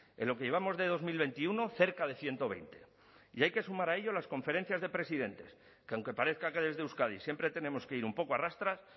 en lo que llevamos de dos mil veintiuno cerca de ciento veinte y hay que sumar a ello las conferencias de presidentes que aunque parezca que desde euskadi siempre tenemos que ir un poco a rastras